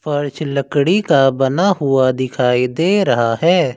फर्श लकड़ी का बना हुआ दिखाई दे रहा है।